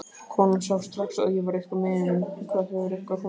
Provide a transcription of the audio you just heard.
Konan sá strax að ég var eitthvað miður mín. Hvað, hefur eitthvað komið fyrir?